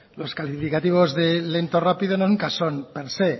los calificativos de lento o rápido nunca son per se